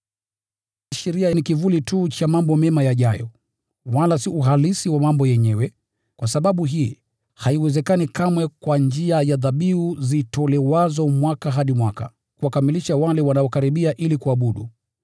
Sheria ni kivuli tu cha mambo mema yajayo, wala si uhalisi wa mambo yenyewe. Kwa sababu hii, haiwezekani kamwe kwa njia ya dhabihu zitolewazo mwaka hadi mwaka kuwakamilisha wale wanaokaribia ili kuabudu.